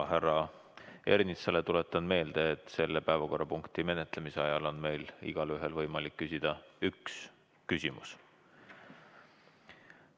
Härra Ernitsale tuletan meelde, et selle päevakorrapunkti menetlemisel on meil igaühel võimalik küsida üks küsimus.